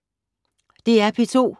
DR P2